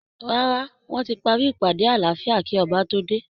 Rárá, wọ́n ti parí ìpàdé àláfíà kí Ọba tó dé